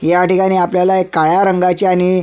ह्या ठिकाणी आपल्याला एक काळ्या रंगाची आणि--